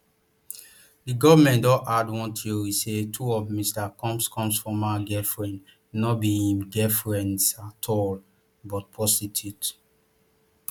di goment don add one theory say two of mr combs combs former girlfriends no be im girlfriends at all but prostitutes